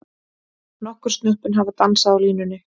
Nokkur snöppin hafa dansað á línunni.